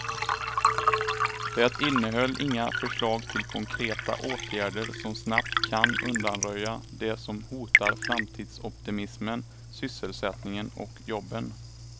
Det innehöll inga förslag till konkreta åtgärder som snabbt kan undanröja det som hotar framtidsoptimismen, sysselsättningen och jobben.